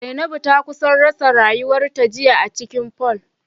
Zainabu ta kusa rasa rayuwarta jiya acikin pool